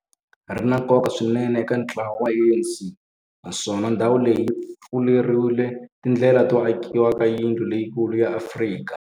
ri na nkoka swinene eka ntlawa wa ANC, naswona ndhawu leyi yi pfurile tindlela to akiwa ka yindlu leyikulu ya Afrika